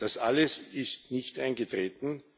Das alles ist nicht eingetreten.